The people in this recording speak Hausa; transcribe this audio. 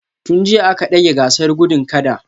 Tun jiya aka dage gasar gudun kada